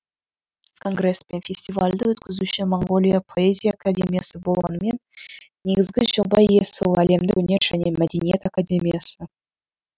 конгресс пен фестивальды өткізуші моңғолия поэзия академиясы болғанымен негізгі жоба иесі әлемдік өнер және мәдениет академиясы